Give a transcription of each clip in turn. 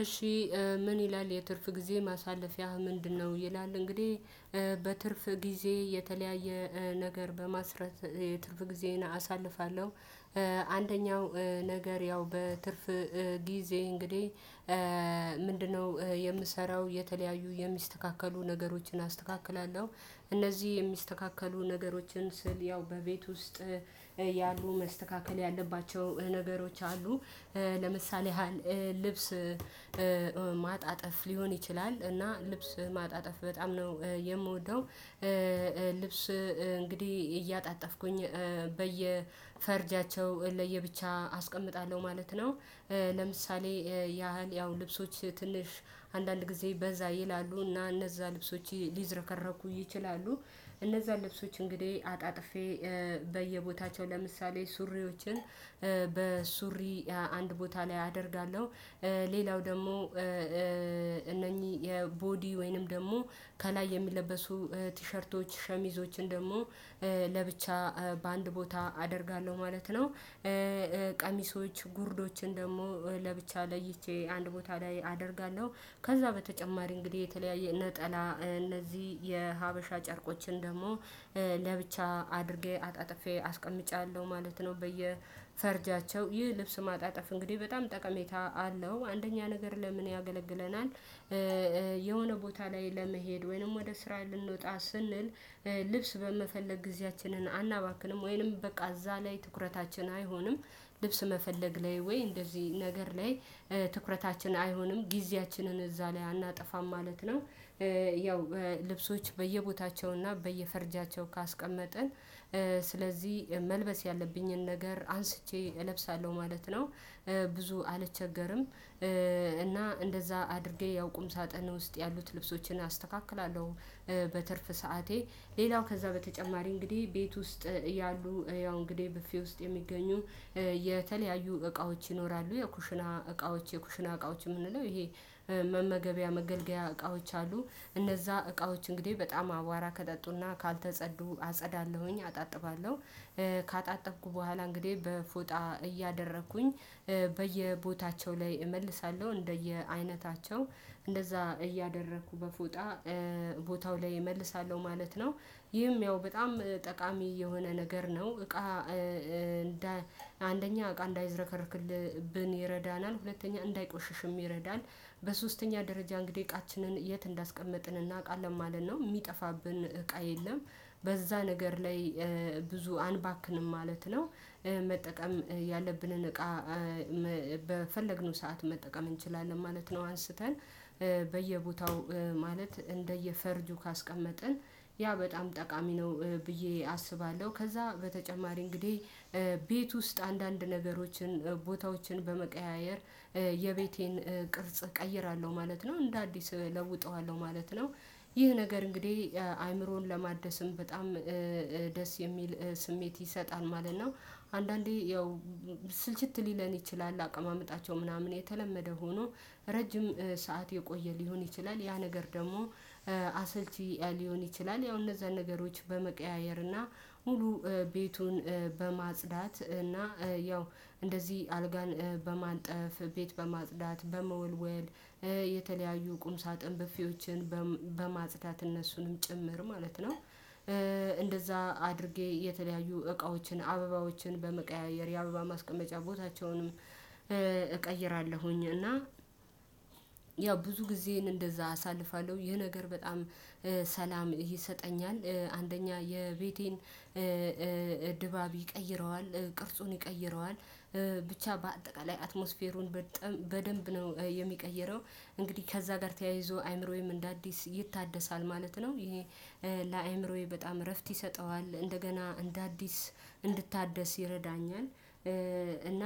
እሺ ምን ይላል የትርፍ ጊዜ ማሳለፊያህ ምንድነው? ይላል እንግዲህ በትርፍ ጊዜ የተለያየ ነገር በማስረት የትርፍ ጊዜ አሳልፋለሁ። አንደኛው ነገር ያው በትርፍ ጊዜ እንግዲህ ምንድነው የምሰራው የተለያዩ የሚስተካከሉ ነገሮችን አስተካክላለሁ እነዚህ የሚስተካከሉ ነገሮችን ስል ያው በቤት ውስጥ ያሉ መስተካከል ያለባቸው ነገሮች አሉ። ለምሳሌ ያህል ልብስ ማጣጠፍ ሊሆን ይችላል እና ልብስ ማጣጠፍ በጣም ነው የምወደው ልብስ እንግዲህ እያጣጣፍኩኝ በየፈርጃቸው ለየብቻ አስቀምጣለሁ ማለት ነው። ለምሳሌ ያህል ያው ልብሶች ትንሽ አንዳንድ ጊዜ በዛ ይላሉ እና እነዛ ልብሶች ሊዝረከረኩ ይችላሉ። እነዛ ልብሶች እንግዲህ አጣጥፌ በየቦታቸው ለምሳሌ ሱሪዎችን በሱሪ አንድ ቦታ ላይ አደርጋለሁ ሌላው ደግሞ እነኚህ የቦዲ ወይንም ደግሞ ከላይ የሚለበሱ ቲሸርቶች ሸሚዞችን ደግሞ ለብቻ በአንድ ቦታ አደርጋለሁ ማለት ነው። ቀሚሶች ጉርዶችን ደግሞ ለብቻ ለይቼ አንድ ቦታ ላይ አደርጋለሁ ከዛ በተጨማሪ እንግዲህ የተለያየ ነጠላ እነዚህ የሀበሻ ጨርቆችን ደግሞ ለብቻ አድርጌ አጣጥፌ አስቀምጫለሁ ማለት ነው በየፈርጃቸው ይህ ልብስ ማጣጥፍ እንግዲህ በጣም ጠቀሜታ አለው አንደኛ ነገር ለምን ያገለግለናል የሆነ ቦታ ላይ ለመሄድ ወይንም ወደ ስራ ልንወጣ ስንል ልብስ በመፈለግ ጊዜያችንን አናባክንም ወይንም በቃዛ ላይ ትኩረታችን አይሆንም ልብስ መፈለግ ላይ ወይ እንደዚህ ነገር ላይ ትኩረታችን አይሆንም ጊዜያችንን እዛ ላይ አናጠፋም ማለት ነው። ያው ልብሶች በየቦታቸውና በየፈርጃቸው ካስቀመጥን ስለዚህ መልበስ ያለብኝን ነገር አንስቼ እለብሳለሁ ማለት ነው ብዙ አልቸገርም። እና እንደዛ አድርጌ ያው ቁም ሳጥን ውስጥ ያሉት ልብሶችን አስተካክላለሁ በትርፍ ሰዓቴ ሌላው ከዛ በተጨማሪ እንግዲህ ቤት ውስጥ ያሉ ያው እንግዲህ በፊው ውስጥ የሚገኙ የተለያዩ እቃዎች ይኖራሉ የኩሽና እቃዎች የኩሽና እቃዎች የምንለው ይሄ መመገቢያ መገልገያ እቃዎች አሉ እነዛ እቃዎች እንግዲህ በጣም አዋራ ከጠጡና ካልተጸዱ አጸዳለሁኝ አጣጥባለሁ። ካጣጠብኩ በኋላ እንግዲህ በፎጣ እያደረኩኝ በየቦታቸው ላይ እመልሳለሁ እንደየ አይነታቸው እንደዛ እያደረኩ በፎጣ ቦታው ላይ እመልሳለሁ ማለት ነው ይህም ያው በጣም ጠቃሚ የሆነ ነገር ነው እቃ እንደ አንደኛ እቃ እንዳይዘረከርክብን ይረዳናል ሁለተኛ እንዳይቆሽሽም ይረዳል በሶስተኛ ደረጃ እንግዲህ እቃችንን የት እንዳስቀመጥን እናውቃለን ማለት ነው የሚጠፋብን እቃ የለም በዛ ነገር ላይ ብዙ አንባክንም ማለት ነው። መጠቀም ያለብንን እቃ በፈለግነው ሰዓት መጠቀም እንችላለን ማለት ነው አንስተን በየቦታው ማለት እንደየፈርጁ ካስቀመጥን ያ በጣም ጠቃሚ ነው ብዬ አስባለሁ ከዛ በተጨማሪ እንግዲህ ቤት ውስጥ አንዳንድ ነገሮችን ቦታዎችን በመቀያየር የቤቴን ቅርጽ እቀይራለሁ ማለት ነው እንደ አዲስ እለውጠዋለሁ ማለት ነው ይህ ነገር እንግዲህ አእምሮን ለማደስም በጣም ደስ የሚል ስሜት ይሰጣል ማለት ነው። አንዳንዴ ያው ስልችት ሊለን ይችላል አቀማመጣቸው ምናምን የተለመደ ሆኖ ረጅም ሰዓት የቆየ ሊሆን ይችላል ያ ነገር ደግሞ አሰልቺ ሊሆን ይችላል ያው እነዛ ነገሮች በመቀያየር እና ሙሉ ቤቱን በማጽዳት እና ያው እንደዚህ አልጋን በማንጠፍ ቤት በማጽዳት በመወልወል የተለያዩ ቁም ሳጥን በፊዎችን በማጽታት እነሱንም ጭምር ማለት ነው። እንደዛ አድርጌ የተለያዩ እቃዎችን አበባዎችን በመቀያየር የአበባ ማስቀመጫ ቦታቸውንም እቀይራለሁኝ እና ያው ብዙ ጊዜን እንደዛ አሳልፋለሁ ይሄ ነገር በጣም ሰላም ይሰጠኛል አንደኛ የቤቴን ድባብ ይቀይረዋል ቅርጹን ይቀይረዋል። ብቻ በአጠቃላይ አትሞስፌሩን በደንብ ነው የሚቀይረው እንግዲህ ከዛ ጋር ተያይዞ አይምሮዬም እንደ አዲስ ይታደሳል ማለት ነው ይሄ ለአእምሮዬ በጣም እረፍት ይሰጠዋል እንደገና እንደ አዲስ እንድታደስ ይረዳኛል እና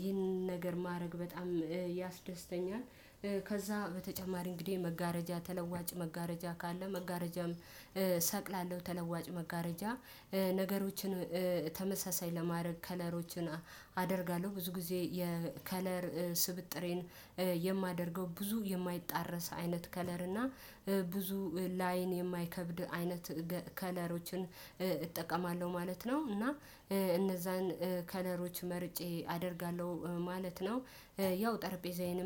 ይህን ነገር ማድረግ በጣም ያስደስተኛል። ከዛ በተጨማሪ እንግዲህ መጋረጃ ተለዋጭ መጋረጃ ካለ መጋረጃም ሰቅላለሁ ተለዋጭ መጋረጃ ነገሮችን ተመሳሳይ ለማድረግ ከለሮችን አደርጋለሁ ብዙ ጊዜ የከለር ስብጥሬን የማደርገው ብዙ የማይጣረስ አይነት ከለር እና ብዙ ላአይን የማይከብድ አይነት ከለሮችን እጠቀማለሁ ማለት ነው እና እነዛን ከለሮች መርጬ አደርጋለሁ ማለት ነው ያው ጠረጴዛዬን